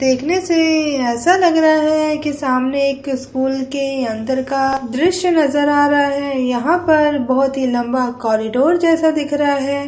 देखने से ऐसा लग रहा है कि सामने एक स्कूल के अंदर का दृश्य नजर आ रहा है यहाँ पर बहोत ही लंबा कॉरिडोर जैसा दिखरा है।